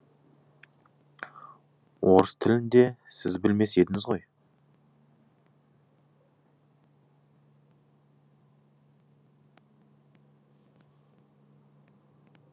орыс тілін де сіз білмес едіңіз ғой